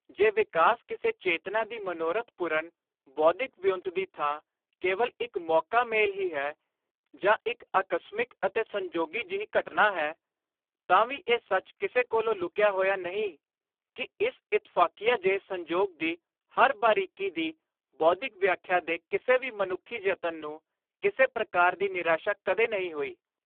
ਜੇ ਵਿਕਾਸ ਕਿਸੇ ਚੇਤਨਾ ਦੀ ਮਨੋਰਥ-ਪੁਰਣ ਬੌਧਿਕ ਵਿਉਂਤ ਦੀ ਥਾਂ ਕੇਵਲ ਇਕ ਮੌਕਾ-ਮੇਲ ਹੀ ਹੈ, ਜਾਂ ਇਕ ਆਕਸਮਿਕ ਅਤੇ ਸੰਜੋਗੀ ਜਿਹੀ ਘਟਨਾ ਹੈ, ਤਾਂ ਵੀ ਇਹ ਸੱਚ ਕਿਸੇ ਕੋਲੋਂ ਲੁਕਿਆ ਹੋਇਆ ਨਹੀਂ ਕਿ ਇਸ ਇਤਫ਼ਾਕੀਆ ਜਿਹੇ ਸੰਜੋਗ ਦੀ ਹਰ ਬਾਰੀਕੀ ਦੀ ਬੌਧਿਕ ਵਿਆਖਿਆ ਦੇ ਕਿਸੇ ਵੀ ਮਨੁੱਖੀ ਯਤਨ ਨੂੰ, ਕਿਸੇ ਪ੍ਰਕਾਰ ਦੀ ਨਿਰਾਸ਼ਾ ਕਦੇ ਨਹੀਂ ਹੋਈ।